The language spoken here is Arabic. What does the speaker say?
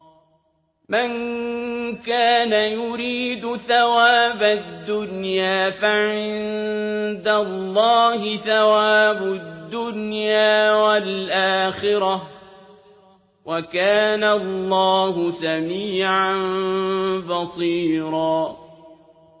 مَّن كَانَ يُرِيدُ ثَوَابَ الدُّنْيَا فَعِندَ اللَّهِ ثَوَابُ الدُّنْيَا وَالْآخِرَةِ ۚ وَكَانَ اللَّهُ سَمِيعًا بَصِيرًا